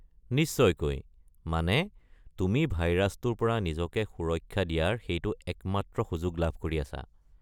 নিশ্চয়কৈ, মানে তুমি ভাইৰাছটোৰ পৰা নিজকে সুৰক্ষা দিয়াৰ সেইটো একমাত্ৰ সুযোগ লাভ কৰি আছা।